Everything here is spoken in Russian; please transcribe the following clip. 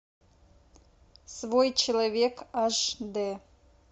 свой человек аш дэ